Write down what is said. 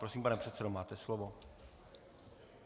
Prosím, pane předsedo, máte slovo.